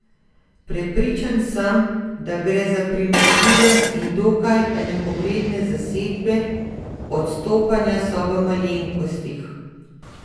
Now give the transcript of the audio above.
Prepričan sem, da gre za primerljive in dokaj enakovredne zasedbe, odstopanja so v malenkostih.